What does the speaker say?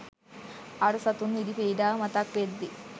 අර සතුන් විඳි පීඩාව මතක් වෙද්දී